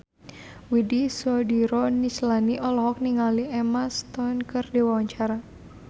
Widy Soediro Nichlany olohok ningali Emma Stone keur diwawancara